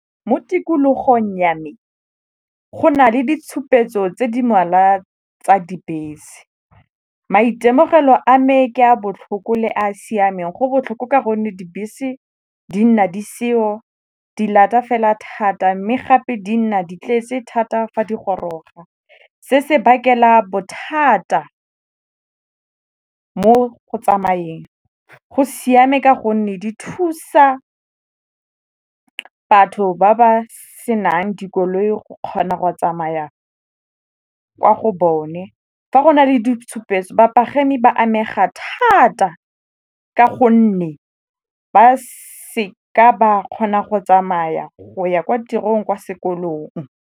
Mo tikologong ya me go na le ditshupetso tse di ngwala tsa dibese. Maitemogelo a me ke a botlhoko le a siameng, go botlhoko ka gonne dibese di nna di seyo, di fela thata mme gape di nna di tletse thata fa di goroga. Se se bakela bothata mo go tsamayeng, go siame ka gonne di thusa batho ba ba senang dikoloi go kgona go tsamaya kwa go bone. Fa go na le ditshupetso bapagami ba amega thata ka gonne ba seka ba kgona go tsamaya go ya kwa tirong, kwa sekolong.